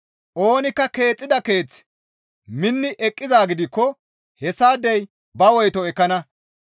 Oonikka keexxida keeththi minni eqqizaa gidikko hessaadey ba woyto ekkana.